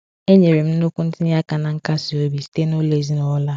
E nyere m nnukwu ntinye aka na nkasi obi site n’ụlọ ezinụlọ a.